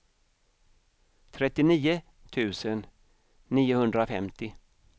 trettionio tusen niohundrafemtio